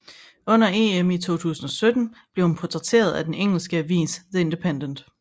Under EM i 2017 blev hun portrætteret af den engelsk avis The Independent